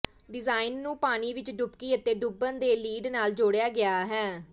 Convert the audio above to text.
design ਨੂੰ ਪਾਣੀ ਵਿਚ ਡੁਬਕੀ ਅਤੇ ਡੁੱਬਣ ਦੇ ਲਿਡ ਨਾਲ ਜੋੜਿਆ ਗਿਆ ਹੈ